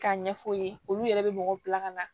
K'a ɲɛf'u ye olu yɛrɛ bɛ mɔgɔw bila ka na